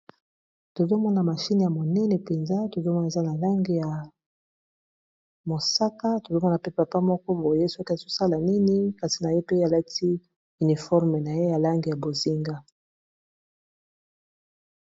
Tozomona mashine ya monene mpenza tozomona eza na langi ya mosaka tozomona pe papa moko boye soki azosala nini kasi na ye pe alati uniforme na ye ya langi ya bozinga.